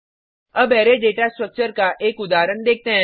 अब array data structure का एक उदाहरण देखते हैं